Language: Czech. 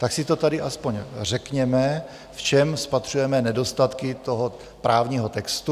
Tak si to tady aspoň řekněme, v čem spatřujeme nedostatky toho právního textu.